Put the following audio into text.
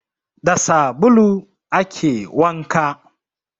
Da sabulu ake wanka